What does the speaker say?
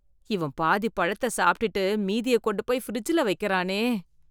இவன் பாதி பழத்த சாப்ட்டுட்டு மீதிய கொண்டுப் போய் ஃப்ரிட்ஜ்ல வெக்கறானே.